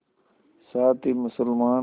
साथ ही मुसलमान